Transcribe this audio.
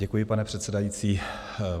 Děkuji, pane předsedající.